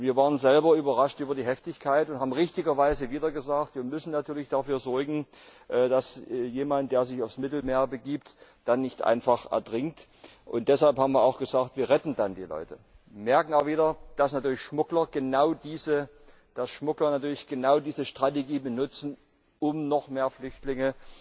Wir waren selber überrascht über die Heftigkeit und haben richtigerweise wieder gesagt Wir müssen natürlich dafür sorgen, dass jemand, der sich aufs Mittelmeer begibt, dann nicht einfach ertrinkt Deshalb haben wir auch gesagt, wir retten dann die Leute. Wir merken aber wieder, dass natürlich Schmuggler genau diese Strategie benutzen, um noch mehr Flüchtlinge